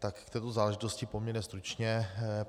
K této záležitosti poměrně stručně.